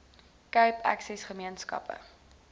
cape access gemeenskappe